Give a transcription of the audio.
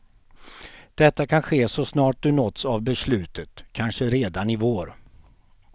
Detta kan ske så snart du nåtts av beslutet, kanske redan i vår.